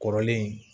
Kɔrɔlen